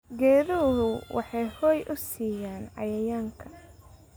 Geeduhu waxay hoy u siiyaan cayayaanka.